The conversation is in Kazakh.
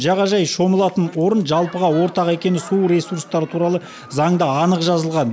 жағажай шомылатын орын жалпыға ортақ екені су ресурстары туралы заңда анық жазылған